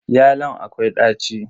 Yalon akwai daci.